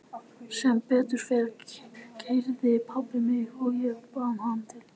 Sem betur fer keyrði pabbi mig og ég bað hann að bíða í smá stund.